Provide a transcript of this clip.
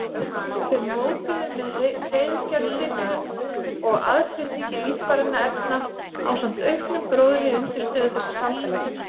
Þeir mótuðu með hreiðurgerð sinni og aðflutningi lífrænna efna ásamt auknum gróðri undirstöðu þessa samfélags.